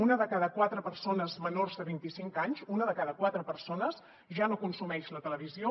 una de cada quatre persones menors de vint i cinc anys una de cada quatre persones ja no consumeix la televisió